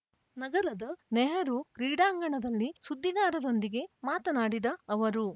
ನಗರದ ನೆಹರೂ ಕ್ರೀಡಾಂಗಣದಲ್ಲಿ ಸುದ್ದಿಗಾರರೊಂದಿಗೆ ಮಾತನಾಡಿದ ಅವರು